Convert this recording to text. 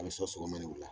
A bɛ sɔ mana wula